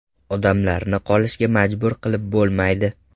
Odamlarni qolishga majbur qilib bo‘lmaydi.